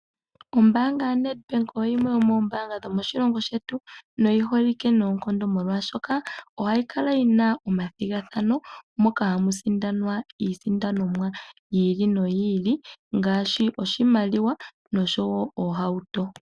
Ombanga ya Nedbank oyimwe yo mombanga dhomoshilongo shetu noyiholike nonkondo molwashoka ohayikala yina omathingathano moka hamusindanwa iisindanomwa yili noyili ngashi oshimaliwa noshowo ohauto.